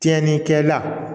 Tiɲɛnikɛla